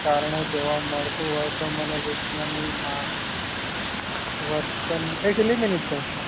કારણે જોવા મળતું હોય તો મનોવિજ્ઞાની માં એ કેટલી મિનીટ થઇ